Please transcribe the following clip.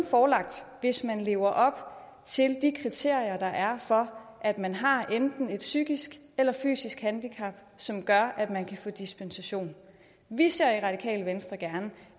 forelagt hvis man lever op til de kriterier der er for at man har enten et psykisk eller et fysisk handicap som gør at man kan få dispensation vi ser i radikale venstre gerne